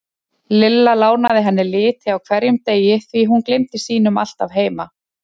Lilla lánaði henni liti á hverjum degi því hún gleymdi sínum alltaf heima.